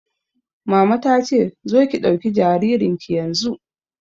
Mama ta ce 'Zo ki ɗauki jaririn ki yanzu'!